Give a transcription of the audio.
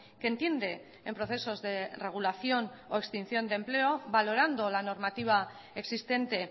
que entiende en procesos de regulación o extinción de empleo valorando la normativa existente